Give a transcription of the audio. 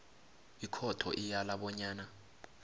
ikhotho iyala bonyana